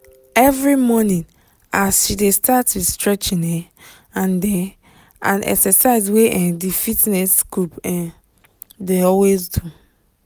every morning as she dey start with stretching um and um and exercise wey um di fitness group um dey always do